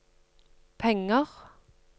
penger